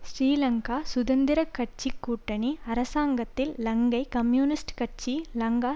ஸ்ரீலங்கா சுதந்திர கட்சி கூட்டணி அரசாங்கத்தில் இலங்கை கம்யூனிஸ்ட் கட்சி லங்கா